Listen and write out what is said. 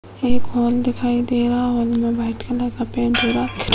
एक हॉल दिखाई दे रहा है। हॉल में व्हाइट कलर का पेंट हो रहा --